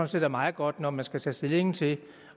set er meget godt når man skal tage stilling til